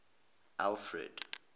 alfred